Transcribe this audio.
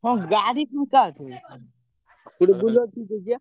ହଁ ଗାଡି ଫାଙ୍କା ଅଛି, ଗୋଟେ Bolero ଠିକ୍ କରିଚି ବା।